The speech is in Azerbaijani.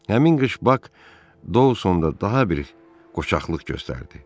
Həmin qış Bak Dowsonda daha bir qoçaqlıq göstərdi.